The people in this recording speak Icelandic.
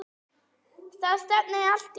Það stefnir allt í það.